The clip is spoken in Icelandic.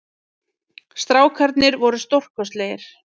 Strákarnir voru stórkostlegir